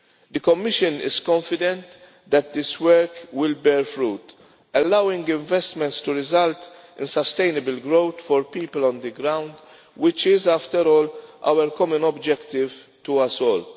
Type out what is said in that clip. The Commission is confident that this work will bear fruit, allowing investments to result and sustainable growth for people on the ground, which is after all our common objective to us all.